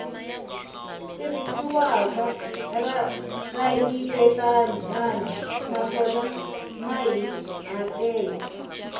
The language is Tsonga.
tirhisiwaka ra kayivelanyana naswona mahikahatelo